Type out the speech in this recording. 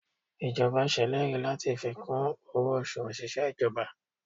Ìjọba ṣèlérí láti fi kún owó oṣù òṣìṣẹ́ ìjọba